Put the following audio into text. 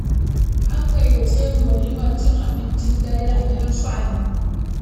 An gayyace ni walimar cin abincin dare a gidan su Ali.